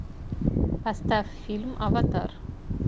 поставь фильм аватар